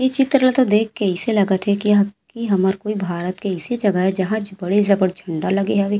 ए चित्र ला देख के अइसे लगत हे की हमर कोई भारत की अइसे जगह ए जहाँ ज बी बड़े जबर झंडा लगे हवे।